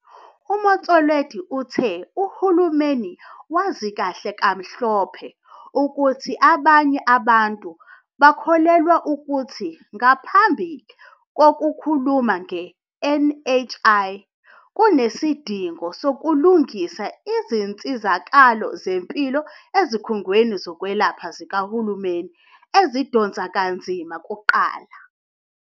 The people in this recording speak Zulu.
UMotsoaledi uthe uhulumeni wazi kahle kamhlophe ukuthi abanye abantu bakholelwa ukuthi ngaphambi kokukhuluma nge-NHI, kunesidingo sokulungisa izinsizakalo zempilo ezikhungweni zokwelapha zikahulumeni ezidonsa kanzima kuqala.